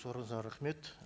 сұрағыңызға рахмет